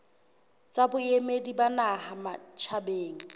tsa boemedi ba naha matjhabeng